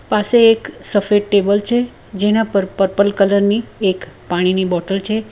પાસે એક સફેદ ટેબલ છે જેના પર પર્પલ કલર ની એક પાણીની બોટલ છે.